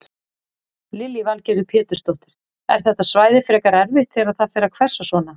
Lillý Valgerður Pétursdóttir: Er þetta svæði frekar erfitt þegar það fer að hvessa svona?